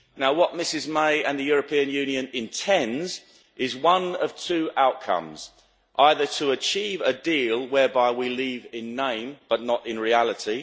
What Mrs May and the European Union intend is one of two outcomes either to achieve a deal whereby we leave in name, but not in reality